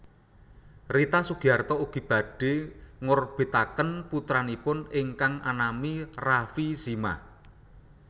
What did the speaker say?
Rita Sugiarto ugi badhé ngorbitaken putranipun ingkang anami Rafie Zimah